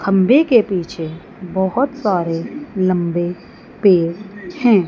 खम्भे के पीछे बहोत सारे लम्बे पेड़ है।